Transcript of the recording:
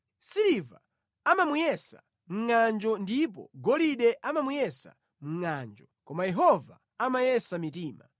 Siliva amamuyesa mʼngʼanjo ndipo golide amamuyesa mʼngʼanjo, koma Yehova amayesa mitima.